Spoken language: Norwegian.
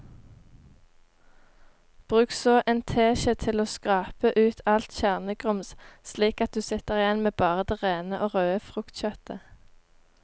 Bruk så en teskje til å skrape ut alt kjernegrums slik at du sitter igjen med bare det rene og røde fruktkjøttet.